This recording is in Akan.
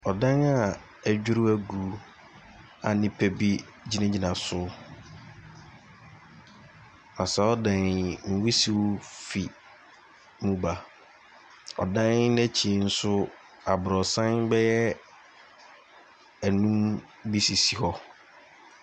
Ɔdan a adwiri agu a nnipa gyina gyina so. Na saa ɔdan yi nwusie ɛfriri mu ɛba, ɔdan no akyi nso abrosan bɛyɛ ɛnum bi sisi hɔ.